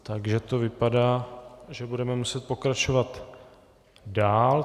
Takže to vypadá, že budeme muset pokračovat dál.